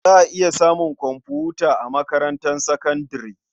Za a iya samun komfuta a makarantar sakandare.